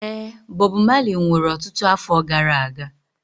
Ee, Bob Marley nwụrụ ọtụtụ afọ gara aga.